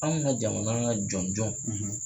Anw ka jamana ka jɔnjɔn